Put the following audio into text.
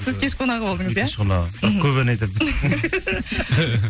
сіз кеш қонағы болдыңыз иә мен кеш қонағы бірақ көп ән айтатынбыз